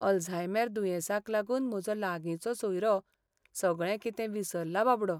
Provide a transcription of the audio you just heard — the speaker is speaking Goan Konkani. अल्झायमॅर दुयेंसाक लागून म्हजो लागींचो सोयरो सगळें कितें विसरला बाबडो.